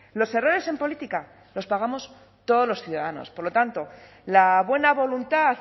los errores en política los pagamos todos los ciudadanos por lo tanto la buena voluntad